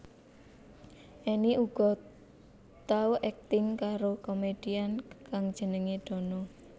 Enny uga tau akting karo komedian kang jenengé Dono